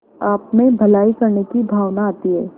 आपमें भलाई करने की भावना आती है